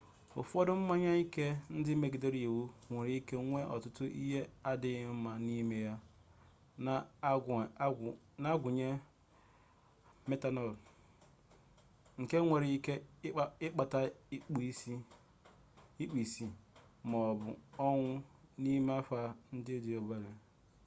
ụfọdụ mmanya ike ndị megidere iwu nwere ike nwee ọtụtụ ihe adịghị mma n'ime ha na-agụnye metanọl nke nwere ike ịkpata ikpu isi ma ọ bụ ọnwụ n'ime nha ndị dị obere